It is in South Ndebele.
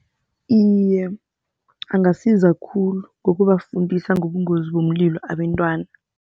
Iye, angasiza khulu ngokubafundisa ngobungozi bomlilo abentwana.